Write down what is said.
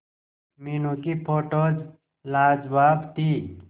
मीनू की फोटोज लाजवाब थी